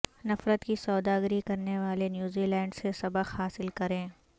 نفرت کی سوداگری کرنے والے نیوزی لینڈسے سبق حاصل کریں